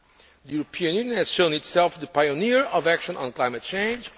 The European Union has shown itself the pioneer of action on climate change.